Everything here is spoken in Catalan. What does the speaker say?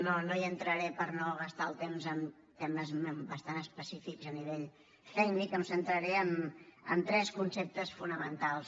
no hi entraré per no gastar el temps en temes bastant específics a nivell tècnic em centraré en tres conceptes fonamentals